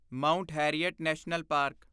Mount Harriet National park